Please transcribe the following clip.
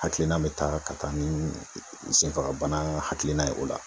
Hakilina be taa ,ka taa ni senfagabana hakilina ye o la.